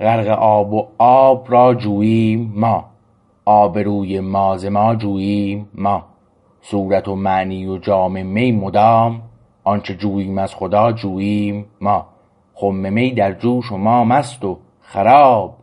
غرق آب و آب را جوییم ما آبروی ما ز ما جوییم ما صورت و معنی و جام می مدام آنچه جوییم از خدا جوییم ما خم می در جوش و ما مست و خراب